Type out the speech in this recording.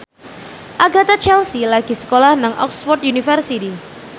Agatha Chelsea lagi sekolah nang Oxford university